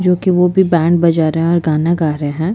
जो की वो भी बैंड बजा रहे हैं और गाना गा रहे है।